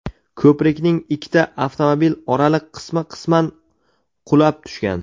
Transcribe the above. Ko‘prikning ikkita avtomobil oraliq qismi qisman qulab tushgan.